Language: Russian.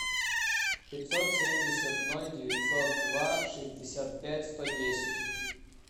пятьсот семьдесят ноль девятьсот два шестьдесят пять сто десять